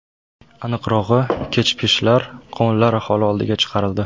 Aniqrog‘i, kechpishar qovunlar aholi oldiga chiqarildi.